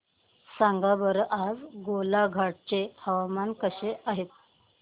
सांगा बरं आज गोलाघाट चे हवामान कसे आहे